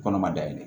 Kɔnɔ ma dayɛlɛ